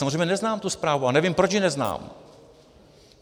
Samozřejmě neznám tu zprávu a nevím, proč ji neznám.